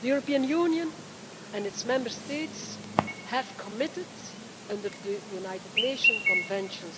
The European Union and its Member States have committed, under the United Nations Convention